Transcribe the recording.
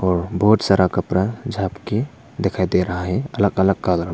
और बहुत सारा कपड़ा झापके दिखाई दे रहा है अलग अलग कलर --